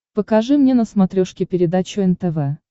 покажи мне на смотрешке передачу нтв